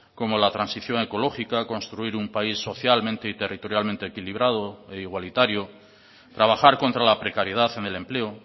como la transición ecológica construir un país socialmente y territorialmente equilibrado e igualitario trabajar contra la precariedad en el empleo